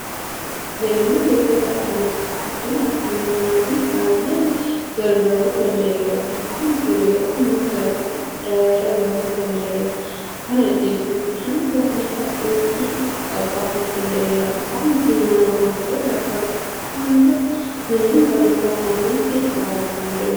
Galmeen jechoota afaan oromoo guddina afaan kanaatiif baay'ee gargaaruu danda'eera. Afaan kun yeroo ammaa sadarkaa guddaa irra gahuu danda'eera. Kana jechuun hanga waalta'uutti qaqqabuu danda'eera. Afaan kun mana barnootaa sadarkaa tokkoffaa hanga manneen barnoota olaanootti baratamuu danda'eera.